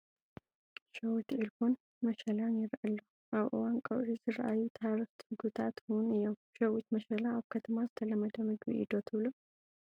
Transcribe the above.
ሸዊት ዒልቦን መሸላን ይረአ ኣሎ፡፡ ኣብ እዋን ቀውዒ ዝራኣዩ ተሃረፍቲ ምግብታት ውን እዮም፡፡ ሸዊት መሸላ ኣብ ከተማ ዝተለመደ ምግቢ እዩ ዶ ትብሉ?